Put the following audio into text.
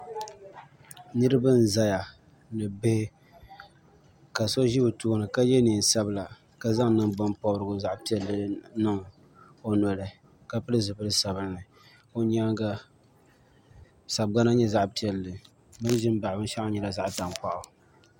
Niriba n zaya ni bihi ka so ʒɛ o tooni ka ye niɛn'sabla ka zaŋ nangban pobrigu zaɣa piɛlli niŋ o noli ka pili zipil'sabinli o nyaanga sagbana nyɛ zaɣa piɛlli bɛ ni ʒi m baɣi binshaɣu ŋɔ nyɛla zaɣa tankpaɣu.